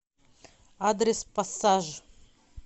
адрес пассаж